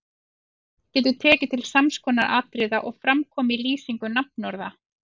Lýsingin getur tekið til sams konar atriða og fram koma í lýsingu nafnorða